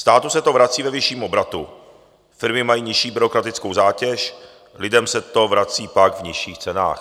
Státu se to vrací ve vyšším obratu, firmy mají nižší byrokratickou zátěž, lidem se to vrací pak v nižších cenách.